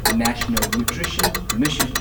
national nutrition mission